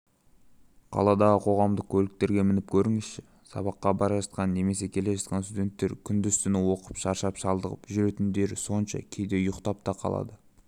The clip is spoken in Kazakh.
қаладағы қоғамдық көліктерге мініп көріңізші сабаққа бара жатқан немесе келе жатқан студенттер күндіз-түні оқып шаршап-шалдығып жүретіндері соншама кейде ұйықтап та қалады